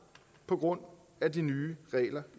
på grund af de nye regler